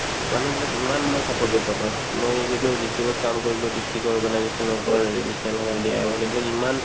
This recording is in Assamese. মানুহবিলাক ইমান মানে supportive পাবা মই যিহেটো district ত কাম কৰিলো district ৰ মানে কিছুমান এইবিলাক ইমান